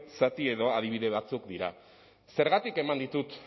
zati edo adibide batzuk dira zergatik eman ditut